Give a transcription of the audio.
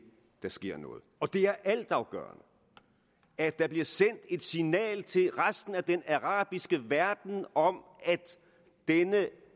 sker noget og det er altafgørende at der bliver sendt et signal til resten af den arabiske verden om at